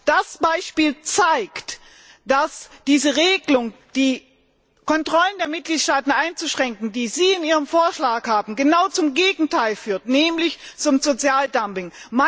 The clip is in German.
Das Beispiel zeigt, dass die Regelung, die Kontrollen der Mitgliedstaaten einzuschränken, die Sie in Ihrem Vorschlag haben, genau zum Gegenteil führt, nämlich zum Sozialdumping.